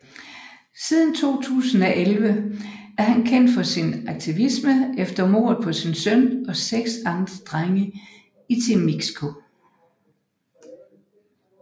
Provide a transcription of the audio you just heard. Siden 2011 er han kendt for sin aktivisme efter mordet på sin søn og seks andre drenge i Temixco